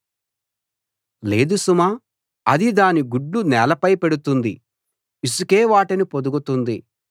లేదు సుమా అది దాని గుడ్లు నేలపై పెడుతుంది ఇసుకే వాటిని పొదుగుతుంది